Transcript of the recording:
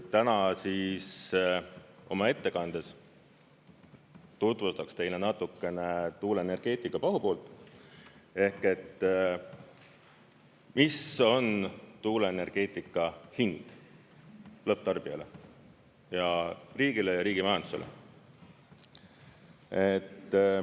Täna oma ettekandes tutvustaks teile natukene tuuleenergeetika pahupoolt ehk seda, mis on tuuleenergeetika hind lõpptarbijale ja riigile ja riigi majandusele.